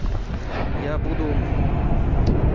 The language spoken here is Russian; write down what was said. я буду